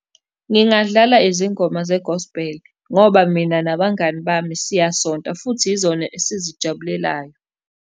Ngingadlala izingoma zegosbheli ngoba mina nabangani bami siyasonta, futhi yizona esizijabulelayo.